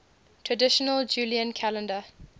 traditional julian calendar